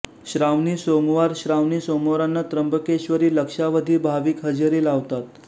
श्रावणी सोमवारश्रावणी सोमवारांना त्र्यंबकेश्वरी लक्षावधी भाविक हजेरी लावतात